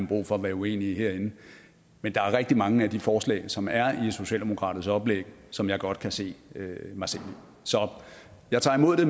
brug for at være uenige herinde men der er rigtig mange af de forslag som der er i socialdemokratiets oplæg som jeg godt kan se mig selv i så jeg tager imod det